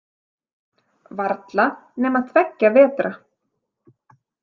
Varla nema tveggja vetra.